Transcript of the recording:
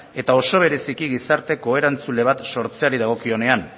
eta oso bereziki gizarte ko erantzule bat sortzeari dagokionean